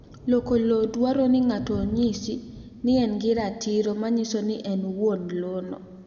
Loko lowo dwaro ni ng'ato onyis ni en gi ratiro ma nyiso ni en wuon lowo no